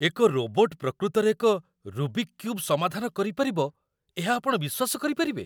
ଏକ ରୋବୋଟ୍ ପ୍ରକୃତରେ ଏକ 'ରୁବିକ୍ କ୍ୟୁବ୍' ସମାଧାନ କରିପାରିବ, ଏହା ଆପଣ ବିଶ୍ୱାସ କରିପାରିବେ?